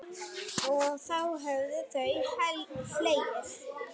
Og þá höfðu þau hlegið.